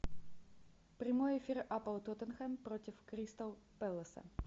прямой эфир апл тоттенхэм против кристал пэласа